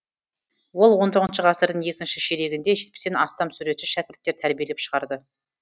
ол он тоғызыншы ғасырдың екінші ширегінде жетпістен астам суретші шәкірттер тәрбиелеп шығарды